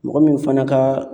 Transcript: Mɔgɔ min fana ka